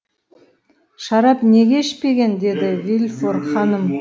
шарап неге ішпеген деді де вильфор ханым